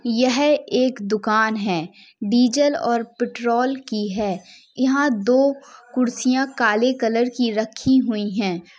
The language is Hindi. यह एक दुकान है। डीजल और पेट्रोल की है। यहाँ दो कुर्सिया काले कलर की रखी हुई हैं।